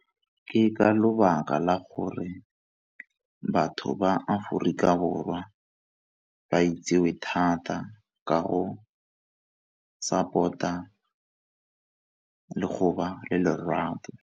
Ke ka lebaka la gore batho ba Aforika Borwa ba itsewe thata ka go support-a le go ba le lerato.